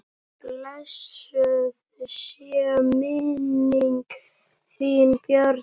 Blessuð sé minning þín Bjarni.